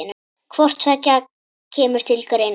Hvort tveggja kemur til greina.